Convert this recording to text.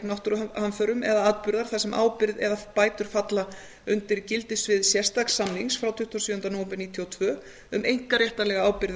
náttúruhamförum eða atburðar þar sem ábyrgð eða bætur falla undir gildissvið sérstaks samnings frá tuttugasta og sjöunda nóvember nítján hundruð níutíu og tvö um einkaréttarlega ábyrgð